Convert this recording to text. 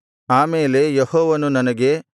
ಆ ಮೇಲೆ ಯೆಹೋವನು ನನಗೆ